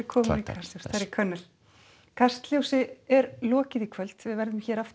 mig kastljósi er lokið í kvöld við verðum hér aftur